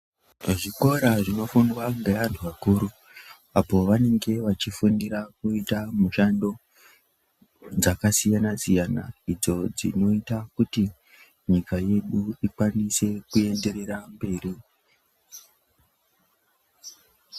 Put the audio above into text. Zvikora zvinofundwa ngeantu akuru apo vanenge vachifundira kuita mushando dzakasiyana-siyana idzo dzinoita kuti nyika yedu ikwanise kuenderera mberi.